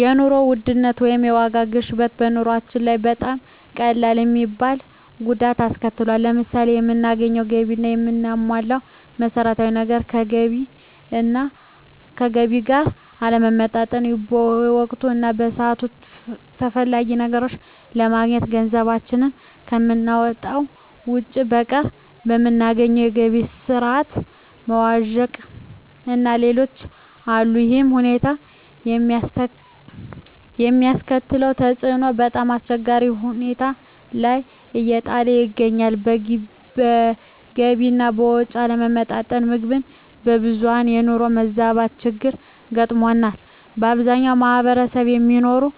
የኑሮ ውድነት ወይም የዋጋ ግሽበት በኑሮአችን ላይ በጣም ቀላል የማይባል ጉዳት አስከትሎብናል። ለምሳሌ የምናገኘው ገቢ እና የምናሟላቸው መሠረታዊ ነገሮች ከገቢ ጋር አለመመጣጠን፣ በወቅቱ እና በሰዓቱ ተፈላጊ ነገሮችን አለማግኘት፣ ገንዘባችን ከምናወጣው ወጭ በቀር የምናገኘው የገቢ ስረዓት መዋዠቅእና ሌሎችም አሉ። ይሕም ሁኔታ የሚያስከትለው ተፅዕኖ በጣምአስቸጋሪ ሁኔታ ላይ እየጣለን ይገኛል። በገቢ አና ወጭ አለመመጣጠን ምክንያት የብዙሀን የኑሮ መዛባት ችግር ገጥሞናል። በአብዛኛው ማሕበረሰብ የሚኖረው